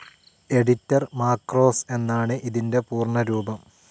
Editor macros എന്നാണ് ഇതിന്റെ പൂർണ്ണരൂപം.